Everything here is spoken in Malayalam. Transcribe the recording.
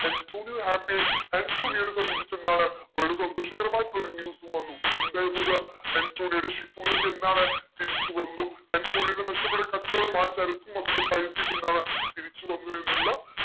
ആന്റോണിയ happy ആയി ആന്റോണിയോനെ സംബന്ധിച്ചെന്താണ് വളരെ സന്തോഷകരമായിട്ടുള്ള ഒരു news ഉം വന്നു എന്തായിരുന്നു അത്. ആന്റോണിയോടെ ship കളൊക്കെ എന്താണ് തിരിച്ചു വന്നു ആന്റോണിയോടെ നഷ്ടപെട്ട ആ കച്ചോടം ആ ചരക്കും അതിന്റെ പൈസയും ഒക്കെ എന്താ തിരിച്ചു വന്നു എന്നുള്ള